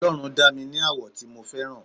ọlọrun dá mi ní àwọ̀ tí mo fẹ́ràn